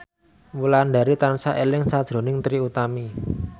Wulandari tansah eling sakjroning Trie Utami